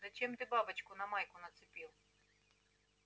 зачем ты бабочку на майку нацепил